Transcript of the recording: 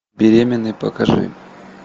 беременный покажи